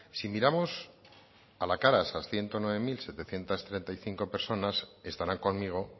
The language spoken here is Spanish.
si miramos a la cara a esas ciento nueve mil setecientos treinta y cinco personas estarán conmigo